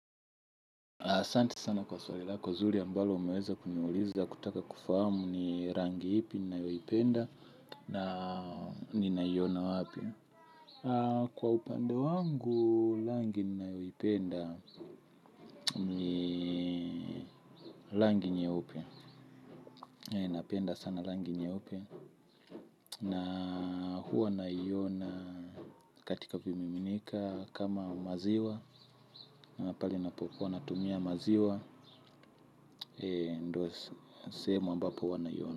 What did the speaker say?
Asante sana kwa swali lako zuri ambalo umeweza kuniuliza kutaka kufahamu ni rangi ipi ninayoipenda na ninaiona wapi. Kwa upande wangu, rangi ninayoipenda ni rangi nyeupe. Napenda sana rangi nyeupe na huwa naiona katika vimiminika kama maziwa. Na pale napo kuwa natumia maziwa, ndo sehemu ambapo huwa naiona.